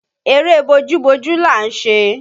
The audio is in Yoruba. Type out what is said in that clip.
Eré bójú bojú là ń ṣe